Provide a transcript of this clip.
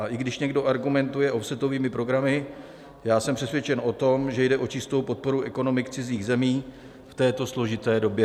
A i když někdo argumentuje offsetovými programy, já jsem přesvědčen o tom, že jde o čistou podporu ekonomik cizích zemí v této složité době.